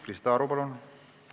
Krista Aru, palun!